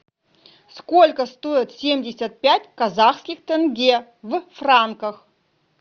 сколько стоит семьдесят пять казахских тенге в франках